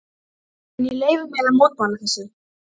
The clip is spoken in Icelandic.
En ég leyfi mér að mótmæla þessu.